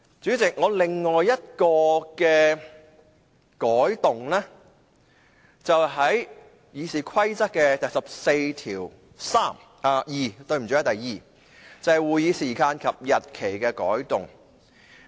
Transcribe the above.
主席，我另一項修正案是有關《議事規則》第142條，關於會議時間及日期的改動。